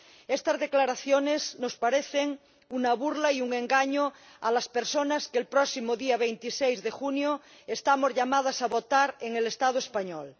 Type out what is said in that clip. Estas declaraciones nos parecen una burla y un engaño a las personas que el próximo día 26 de junio estamos llamadas a votar en el Estado español.